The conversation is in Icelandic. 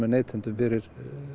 neytendum fyrir